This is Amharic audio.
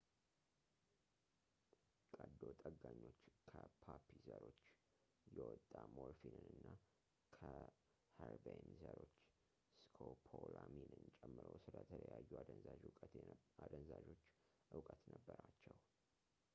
ቀዶ ጠጋኞች ከፖፒ ዘሮች የወጣ ሞርፊንን እና ከኸርቤን ዘሮች ስኮፖላሚንን ጨምሮ ስለተለያዩ አደንዛዦች ዕውቀት ነበራቸው